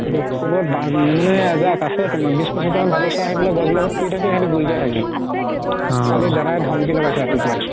কবাত মানে এজাক আছে বিশ পচিস তা মান আহি পেলাই গছ বিলাকত ফুৰি থাকে কালি দাদাই ধমকি লগাইছে ৰাতিপুৱাই